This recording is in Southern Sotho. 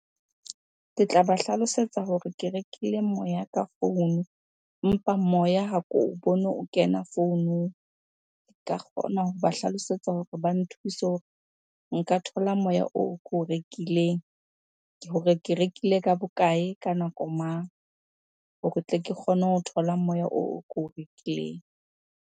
Ke tla ba hlalosetsa hore ke rekile moya ka founu, empa moya ha ko o bone o kena founung. Nka kgona hoba hlalosetsa hore ba nthuse hore nka thola moya oo ko o rekileng hore ke rekile ka bokae? Ka nako mang? Hore tle ke kgone ho thola moya oo o ko o rekileng.